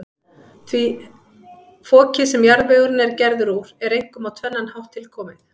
Fokið, sem jarðvegurinn er gerður úr, er einkum á tvennan hátt tilkomið.